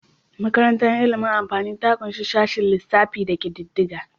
Makarantar ilimin amfani ta ƙunshi sashen lissafi da kididdiga.